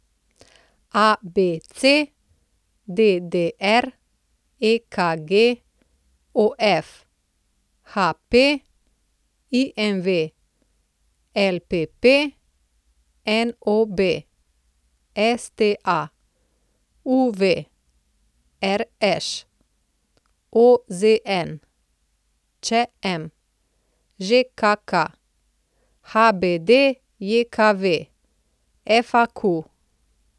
ABC, DDR, EKG, OF, HP, IMV, LPP, NOB, STA, UV, RŠ, OZN, ČM, ŽKK, HBDJKV, FAQ.